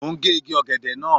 Mo ń gé igi ọ̀gẹ̀dẹ̀ náà.